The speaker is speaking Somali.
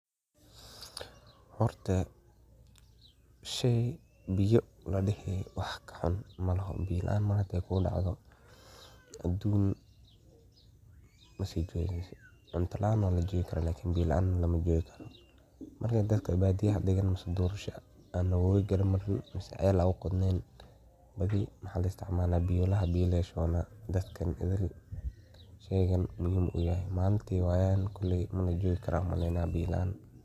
Horta shey biyo ladihi wax kahun malexo. Biyo laan malintay kugu dacdo waa arin aad u culus oo adag arintan koley malinkey wayan biyo dib weyn arkayan. Malintey wayan koley biyo laan majogi karan ayan u maleya.